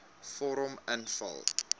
vorm invul